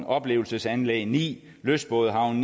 oplevelsesanlæg ni lystbådehavne